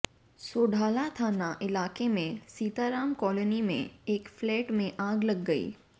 सोढ़ाला थाना इलाके में सीताराम कॉलोनी में एक फ्लेट में आग लग गई